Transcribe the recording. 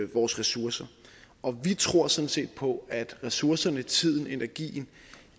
vores ressourcer og vi tror sådan set på at ressourcerne tiden energien